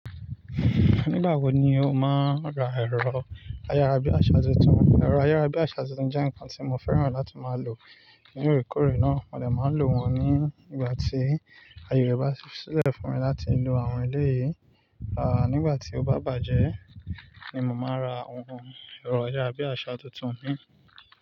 Nígbà wo ni o máa ra ẹ̀rọ ayárabíàṣà tuntun? Ẹ̀rọ ayárabíàṣà tuntun jẹ́ nǹkan tí mo fẹ́ràn láti máa lò. Ní ìrékòré náà, mo dè máa lò wọ́n ní ìgbà tí aye rẹ̀ bá ṣẹlẹ̀ fún mi láti lo àwọn elé yìí. À nígbà tí ó bá bàjẹ́ ni mo máa ra ohun ẹ̀rọ ayárabíàṣà tuntun mi.